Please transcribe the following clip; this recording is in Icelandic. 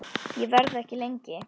Ég verð ekki lengi